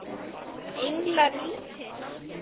Englar vítis